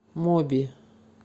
моби